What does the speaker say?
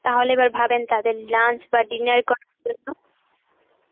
তাহলে এবার ভাবেন তাদের lunch বাহঃ dinner.